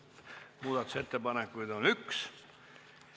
Muudatusettepanekuid on üks.